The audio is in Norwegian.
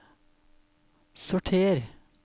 sorter